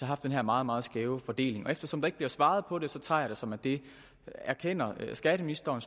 haft den her meget meget skæve fordeling eftersom der ikke bliver svaret på det tager jeg det som at det erkender skatteministeren